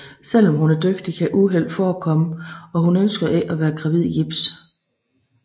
Selvom hun er dygtig kan uheld forekomme og hun ønsker ikke at være gravid i gips